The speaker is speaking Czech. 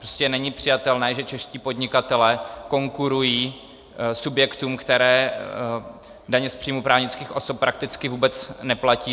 Prostě není přijatelné, že čeští podnikatelé konkurují subjektům, které daně z příjmu právnických osob prakticky vůbec neplatí.